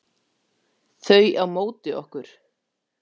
Þau á móti okkur.